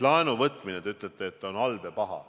Laenuvõtmine, te ütlete, on halb ja paha.